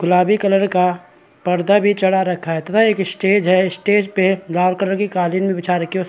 गुलाबी कलर का पर्दा भी चढ़ा रखा है तथा एक स्टेज है। स्टेज पे लाल कलर की कालीन भी बिछा रखी है उस --